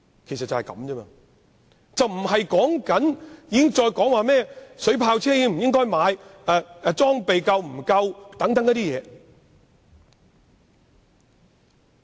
今天的討論無關應否購買水炮車或警方裝備是否足夠等事宜。